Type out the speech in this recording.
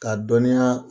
K'a dɔniya